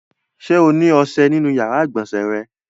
Ṣé ó ní ọṣẹ nínú ìyàrá-ìgbọ̀nsẹ̀ rẹ?